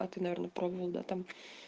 а ты наверное пробовал да там